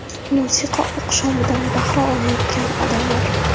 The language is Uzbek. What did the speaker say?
Musiqa oqshomidan bahra olayotgan odamlar.